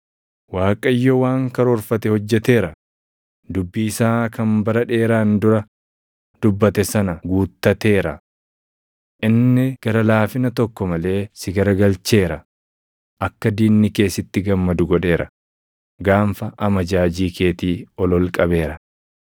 Waaqayyo waan karoorfate hojjeteera; dubbii isaa kan bara dheeraan dura dubbate sana guuttateera. Inni gara laafina tokko malee si garagalcheera; akka diinni kee sitti gammadu godheera; gaanfa amajaajii keetii ol ol qabeera.